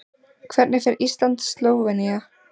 Hvernig fer Ísland- Slóvenía?